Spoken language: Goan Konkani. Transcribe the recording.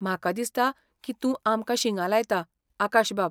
म्हाका दिसता की तूं आमकां शिंगां लायता, आकाशबाब .